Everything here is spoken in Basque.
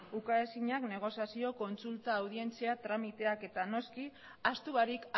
ukaezinak negoziazio kontsulta audientzia tramiteak eta noski ahaztu barik